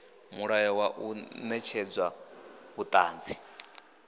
mulayo wa u netshedza vhuṱanzi